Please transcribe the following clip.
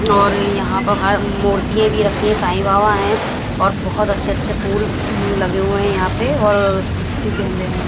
और यहां तो है अम्म मूर्तियां भी रखी है साईं बाबा हैं और बहुत अच्छे-अच्छे फूल लगे हुए हैं यहां पे और गेंदे है।